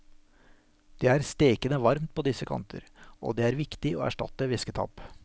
Det er stekende varmt på disse kanter, og det er viktig å erstatte væsketap.